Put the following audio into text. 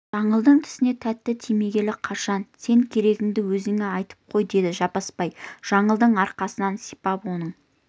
жаңылдың тісіне тәтті тимегелі қашан сен керегіңді өзіме айтып қой деді жаппасбай жаңылдың арқасынан сипап оның